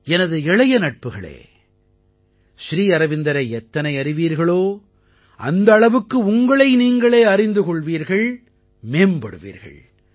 எனது இளைய நட்புகளே ஸ்ரீ அரவிந்தரை எத்தனை அறிவீர்களோ அந்த அளவுக்கு உங்களை நீங்களே அறிந்து கொள்வீர்கள் மேம்படுவீர்கள்